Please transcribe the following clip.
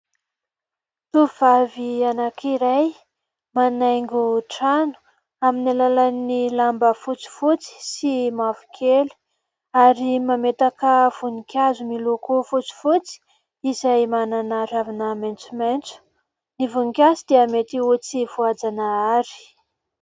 Tovovavy anankiray manaingo trano aminy alalan'ny lamba fotsifotsy sy mavokely ary mametaka voninkazo miloko fotsifotsy izay manana ravina maintsomaintso ny voninkazo dia mety ho tsy voajanahary.